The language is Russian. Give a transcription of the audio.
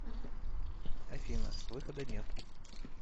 афина выхода нет